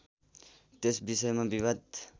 त्यस विषयमा विवाद